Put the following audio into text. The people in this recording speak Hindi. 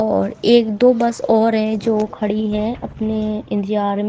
और एक दो बस और है जो खड़ी है अपने इंतजार में--